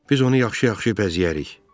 Biz onu yaxşı-yaxşı bəzəyərik.